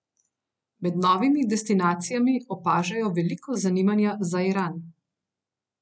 Med novimi destinacijami opažajo veliko zanimanja za Iran.